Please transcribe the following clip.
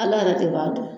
Ala yɛrɛ de b'a dɔn